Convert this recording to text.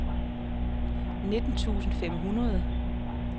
nitten tusind fem hundrede